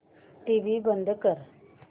TV बंद कर